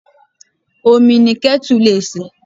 Omi ni ketu lè se.